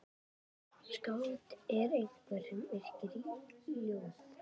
Skáld er einhver sem yrkir ljóð.